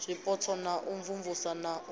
zwipotso na u imvumvusa na